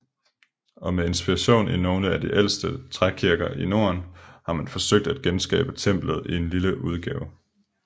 Og med inspiration i nogle af de ældste trækirker i norden har man forsøgt at genskabe templet i lille udgave